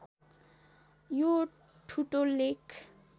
यो ठुटो लेख